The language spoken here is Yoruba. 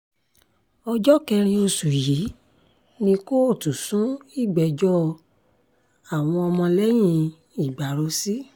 ọjọ́ kẹrin oṣù yìí ni kóòtù sún ìgbẹ́jọ́ àwọn ọmọlẹ́yìn ìgbárò sí